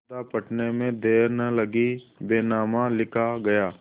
सौदा पटने में देर न लगी बैनामा लिखा गया